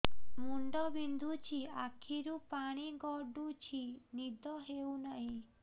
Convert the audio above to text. ମୁଣ୍ଡ ବିନ୍ଧୁଛି ଆଖିରୁ ପାଣି ଗଡୁଛି ନିଦ ହେଉନାହିଁ